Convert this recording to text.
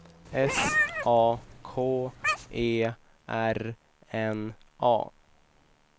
S A K E R N A